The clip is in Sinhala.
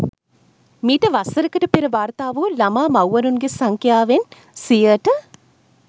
මීට වසරකට පෙර වාර්තා වූ ළමා මව්වරුන්ගෙ සංඛ්‍යාවෙන් සියයට අටක අඩුවීමක්